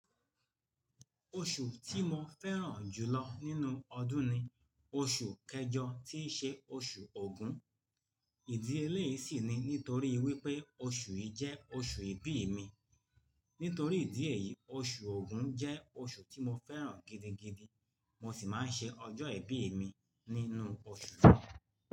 Oṣù tí mo fẹ́ràn jùlọ nínú ọdún ni oṣù kẹjọ tí í ṣe oṣù Ògún. Ìdí eléyìí sì ni nítorí wípé oṣù yìí jẹ́ oṣù ìbí mi. Nítorí ìdí èyí, oṣù Ògún jẹ́ oṣù tí mo fẹ́ràn gidigidi mo sì máa ń ṣe ọjọ́ ìbí mi nínú oṣù yìí.